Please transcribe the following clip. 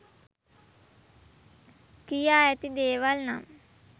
කියා ඇති දේවල් නම්